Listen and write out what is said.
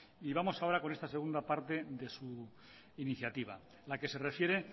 vamos ahora con esta segunda parte de su iniciativa la que se refiere